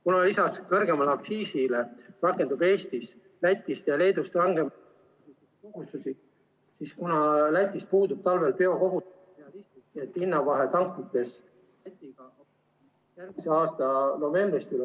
Kuna lisaks kõrgemale aktsiisile rakendub Eestis Lätist ja Leedust rangem ... siis kuna Lätis puudub talvel ... hinnavahe tanklates ... järgmise aasta novembrist ...